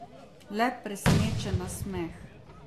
Le presenečen nasmeh.